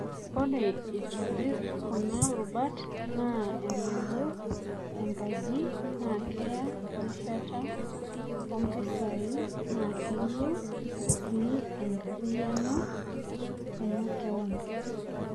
Ore aitobir kuna rubat ana enayiew enkaji, na keya erishata, oompisai na keyiew sii enkarriyano emakeon.